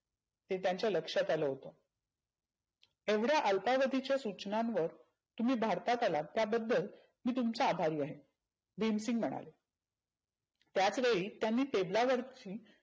हे त्यांच्या लक्षात आलं नव्हतं. एवढ्या अल्पावधींच्या सुचनांवर तुम्ही भारतात आलात त्याबद्दल मी तुमचा अभारी आहे. भिमसिंग म्हणाले. त्याच वेळी त्यांनी table ला वरच्या